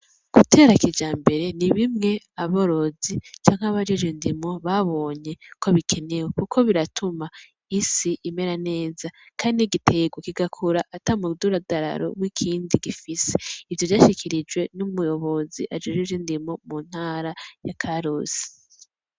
Gutera kijambere n'ibimwe aborozi canke abajejwe indimo babonye ko bikenewe. kuko biratuma isi imera neza kandi n'igiterwa kigakura ata mududaro w'ikindi gifise ivyo vyashikirijwe n'umuyobozi ajejwe ivyo indimo mu ntara I karusi.